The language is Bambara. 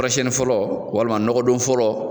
Kɔrɔsɛni fɔlɔ walima nɔgɔ doni fɔlɔ